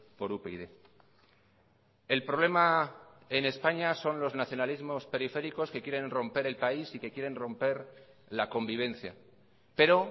por upyd el problema en españa son los nacionalismos periféricos que quieren romper el país y que quieren romper la convivencia pero